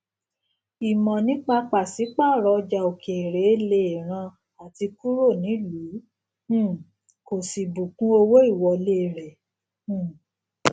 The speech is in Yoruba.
ìmọ nípa pàṣípàrọ ọjà òkèèrè lè ran àti kúrò nílùú um kò sí bùkún owó ìwọlé rẹ um